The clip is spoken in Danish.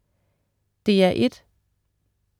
DR1: